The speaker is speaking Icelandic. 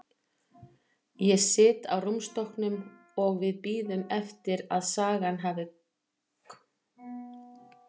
Ég sit á rúmstokknum og við bíðum eftir að sagan komi í hausinn á mér.